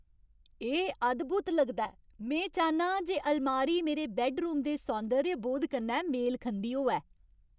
एह् अद्भुत लगदा ऐ! में चाह्न्नां जे अलमारी मेरे बैड्डरूम दे सौंदर्यबोध कन्नै मेल खंदी होऐ।